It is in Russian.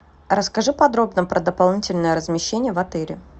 расскажи подробно про дополнительное размещение в отеле